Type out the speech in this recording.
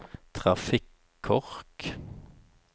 trafikkork